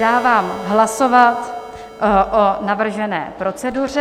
Dávám hlasovat o navržené proceduře.